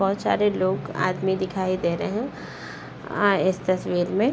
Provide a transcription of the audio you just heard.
बहुत सारे लोग आदमी दिखाई दे रहे आ इस तस्वीर में।